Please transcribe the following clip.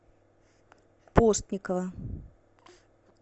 постникова